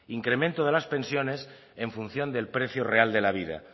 incremento de las pensiones en función del precio real de la vida